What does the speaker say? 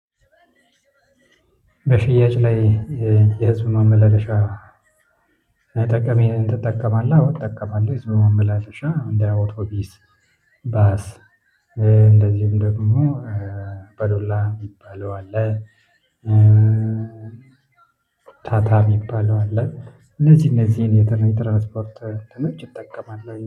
በሽያጭ ላይ የህዝብ ማመላለሻ አይጠቀምም። ትጠቀማለህ አዎ ትጠቀማለህ ዝም ብላ ሻም እንደ አውቶቢስ ባስ እንደዚሁም ደግሞ አባዶላ የሚባለው አለ። ታታ የሚባለው አለ። ለዚህ እነዚህን የትራንስፖርት እንትኖች ይጠቀማል